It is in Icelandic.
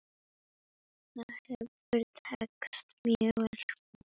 Það hefur tekist mjög vel.